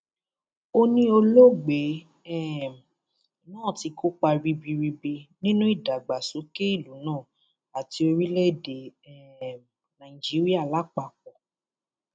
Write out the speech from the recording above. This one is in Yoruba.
ó ní olóògbé um náà ti kópa ribiribi nínú ìdàgbàsókè ìlú náà àti orílẹèdè um nàíjíríà lápapọ